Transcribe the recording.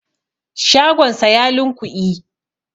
shagonsa ya lunkui